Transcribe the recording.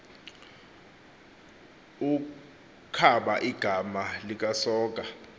ukaba igama likasoga